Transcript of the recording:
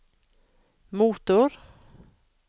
motor